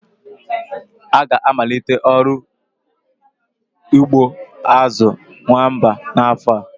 Ha ga-amalite ọrụ ugbo azu nwamba n'afọ a.